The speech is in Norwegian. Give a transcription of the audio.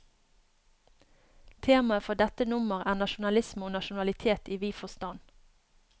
Temaet for dette nummer er, nasjonalisme og nasjonalitet i vid forstand.